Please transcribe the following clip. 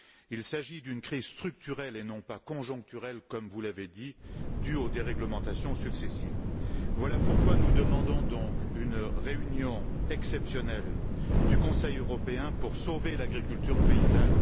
Il s'agit d'une crise structurelle et non pas conjoncturelle, comme vous l'avez dit, due aux déréglementations successives. Voilà pourquoi nous demandons donc une réunion exceptionnelle du Conseil européen pour sauver l'agriculture paysanne.